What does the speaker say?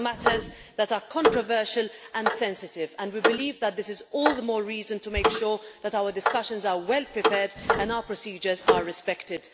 These are matters that are controversial and sensitive and we believe that this is all the more reason to make sure that our discussions are well prepared and our procedures are respected.